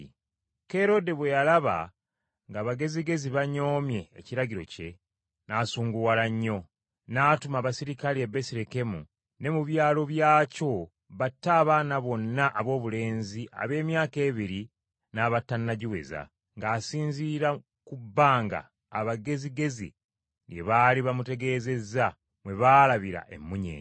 Kerode bwe yalaba ng’Abagezigezi banyoomye ekiragiro kye, n’asunguwala nnyo, n’atuma abaserikale e Besirekemu ne mu byalo byakyo batte abaana bonna aboobulenzi ab’emyaka ebiri n’abatannagiweza, ng’asinziira ku bbanga abagezigezi lye baali bamutegeezeza mwe baalabira emmunyeenye.